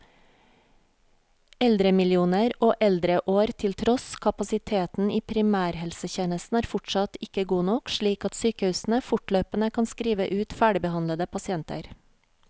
Eldremillioner og eldreår til tross, kapasiteten i primærhelsetjenesten er fortsatt ikke god nok, slik at sykehusene fortløpende kan skrive ut ferdigbehandlede pasienter.